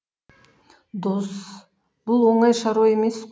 дос бұл оңай шаруа емес